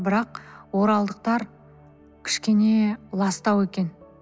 бірақ оралдықтар кішкене ластау екен